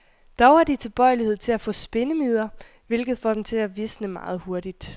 Dog har de tilbøjelighed til at få spindemider, hvilket får dem til at visne meget hurtigt.